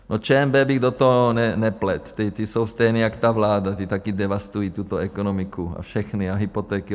No ČNB bych do toho nepletl, ti jsou stejní jak ta vláda, ti také devastují tuto ekonomiku a všechny a hypotéky.